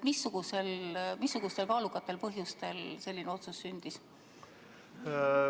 Missugustel kaalukatel põhjustel selline otsus sündis?